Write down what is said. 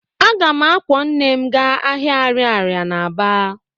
Aga m akwọ nne m gaa ahịa ariaria na Aba